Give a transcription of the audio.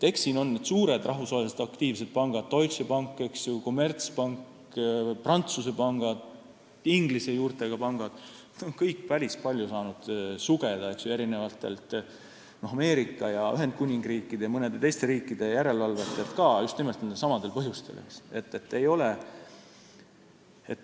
Eks siin on suured rahvusvaheliselt aktiivsed pangad – Deutsche Bank, Commerzbank, Prantsuse pangad, Inglise juurtega pangad – ja nad kõik on saanud päris palju sugeda ka Ameerika, Ühendkuningriigi ja mõne teise riigi järelevalvajatelt just nimelt samadel põhjustel.